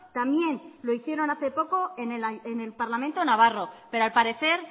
también lo hicieron hace poco en el parlamento navarro pero al parecer